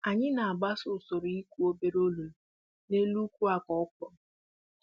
Anyị na-agbaso usoro igu obere olulu n'elu uku akụ ọkwụrụ